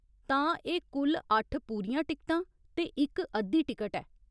तां, एह् कुल अट्ठ पूरियां टिकटां ते इक अद्धी टिकट ऐ।